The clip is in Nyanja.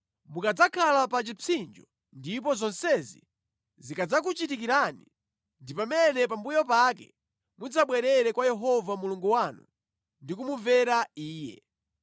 Mukadzakhala pa chipsinjo ndipo zonsezi zikadzakuchitikirani, ndi pamene pambuyo pake mudzabwerera kwa Yehova Mulungu wanu ndi kumumvera Iye.